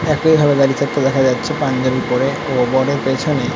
Truck টা এ ভাবে দাঁড়িয়ে থাকতে দেখা যাচ্ছে পাঞ্জাবি পরে। ও পেছনে --